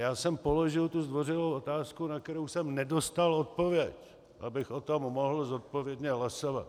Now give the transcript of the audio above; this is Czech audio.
Já jsem položil tu zdvořilou otázku, na kterou jsem nedostal odpověď, abych o tom mohl zodpovědně hlasovat.